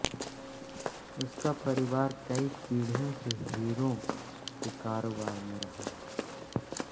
उसका परिवार कई पीढ़ियों से हीरों के कारोबार में रहा है